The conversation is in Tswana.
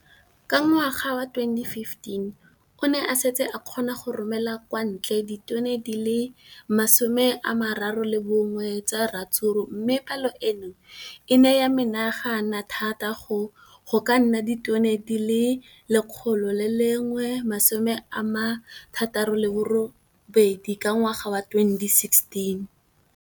Ka ngwaga wa 2015, o ne a setse a kgona go romela kwa ntle ditone di le 31 tsa ratsuru mme palo eno e ne ya menagana thata go ka nna ditone di le 168 ka ngwaga wa 2016.